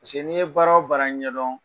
n'i ye baara o baara ɲɛdɔn